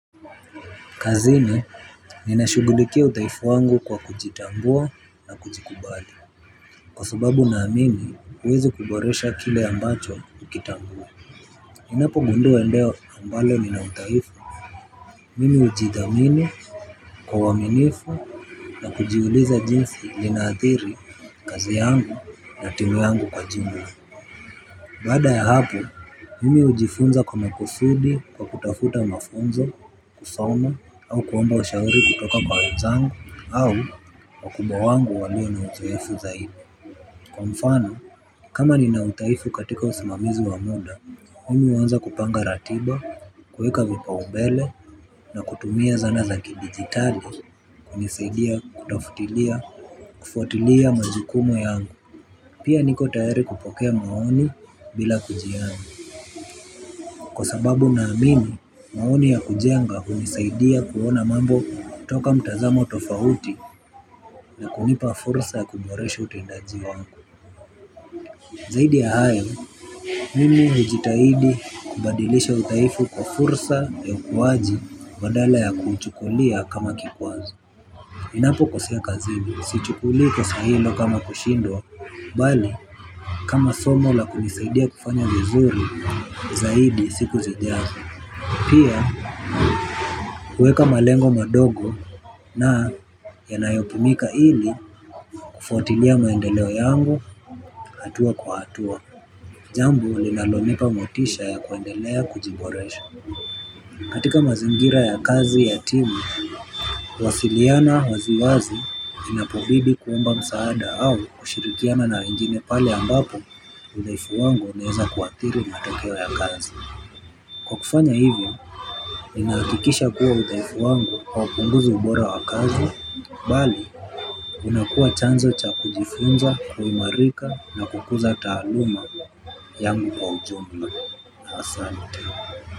Kazini, ninashughulikia udhaifu wangu kwa kujitambua na kujikubali. Kwa sababu naamini, huwezi kuboresha kile ambacho hukitambui. Ninapogundua eneo ambalo nina udhaifu. Mimi hujithamini kwa uaminifu na kujiuliza jinsi linaathiri kazi yangu na timu yangu kwa jumla. Baada ya hapo, mimi hujifunza kwa makusudi, kwa kutafuta mafunzo, kusoma au kuomba ushauri kutoka kwa wenzangu au wakubwa wangu walio na uzoefu zaidi. Kwa mfano, kama nina udhaifu katika usimamizi wa muda, mimi huanza kupanga ratiba, kuweka vipaumbele na kutumia zana za kidigitali hunisaidia kutafutilia, kufuatilia majukumu yangu. Pia niko tayari kupokea maoni bila kujali. Kwa sababu naamini, maoni ya kujenga hunisaidia kuona mambo kutoka mtazamo tofauti. Na kunipa fursa ya kuboresha utendaji wangu. Zaidi ya hayo, mimi hujitahidi kubadilisha udhaifu kwa fursa ya ukuwaji badala ya kuuchukulia kama kikwazo. Ninapokosea kazini, sichukulii kosa hilo kama kushindwa, bali kama somo la kunisaidia kufanya vizuri. Zaidi siku zijazo. Pia kuweka malengo madogo na yanayopimika ili kufuatilia maendeleo yangu, hatua kwa hatua. Jambo linalonipa motisha ya kuendelea kujiboresha. Katika mazingira ya kazi ya timu, kuwasiliana waziwazi inapobidi kuomba msaada au kushirikiana na wengine pale ambapo udhaifu wangu unaweza kuathiri matokeo ya kazi. Kwa kufanya hivyo, ninahakikisha kuwa udhaifu wangu haupunguzi ubora wa kazi, bali, unakuwa chanzo cha kujifunza, kuimarika na kukuza taaluma, yangu kwa ujumla, asante.